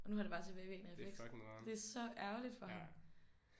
Og nu har det bare tilbagevirkende effekt. Det er så ærgerligt for ham